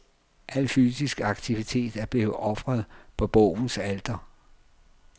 Al fysisk aktivitet er blevet ofret på bogens alter.